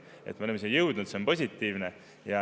Et me oleme siia jõudnud, see on positiivne.